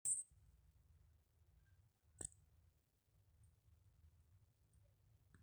kayieu naaji nai cancel elototo aai naidipa atudungo e ntiket enteke, kaji aas